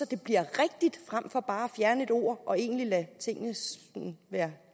det bliver rigtigt frem for bare at fjerne et ord og egentlig lade tingene være